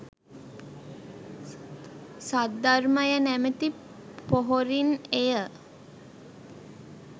සද්ධර්මය නැමති පොහොරින් එය